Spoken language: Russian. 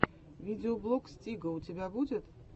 видеоблог стига у тебя будет